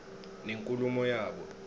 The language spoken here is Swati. nenkulumo yabo